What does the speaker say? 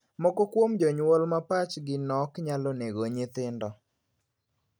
Moko kuom jonyuol ma pachgi nok nyalo nego nyithindo.